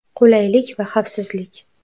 Qulaylik va xavfsizlik.